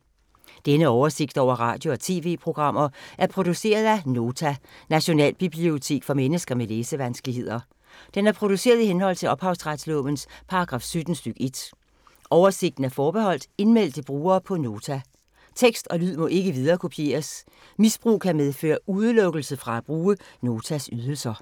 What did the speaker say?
Denne oversigt over radio og TV-programmer er produceret af Nota, Nationalbibliotek for mennesker med læsevanskeligheder. Den er produceret i henhold til ophavsretslovens paragraf 17 stk. 1. Oversigten er forbeholdt indmeldte brugere på Nota. Tekst og lyd må ikke viderekopieres. Misbrug kan medføre udelukkelse fra at bruge Notas ydelser.